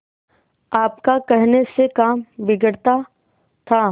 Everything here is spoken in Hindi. आपका कहने से काम बिगड़ता था